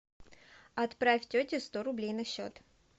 отправь тете сто рублей на счет